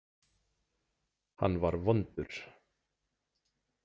Hann var vondur.